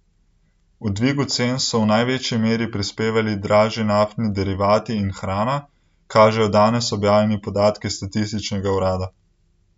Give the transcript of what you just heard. K dvigu cen so v največji meri prispevali dražji naftni derivati in hrana, kažejo danes objavljeni podatki statističnega urada.